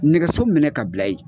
Nɛgɛso minɛ ka bila yen.